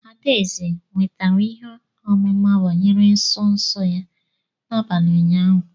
Adaeze nwetara ihe ọmụma banyere nsọ nsọ ya n'abalị ụnyaahụ.